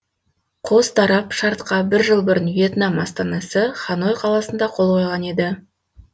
қос тарап шартқа бір жыл бұрын вьетнам астанасы ханой қаласында қол қойған еді